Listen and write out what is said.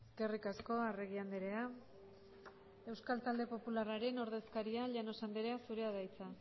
eskerrik asko arregi andrea euskal talde popularraren ordezkaria llanos andrea zurea da hitza